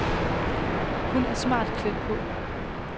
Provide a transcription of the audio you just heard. Hun er smart klædt på.